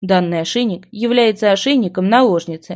данный ошейник является ошейником наложницы